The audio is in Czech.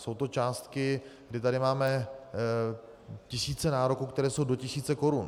Jsou to částky, kdy tady máme tisíce nároků, které jsou do tisíce korun.